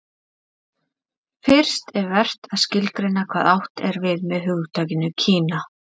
fyrst er vert að skilgreina hvað átt er við með hugtakinu kína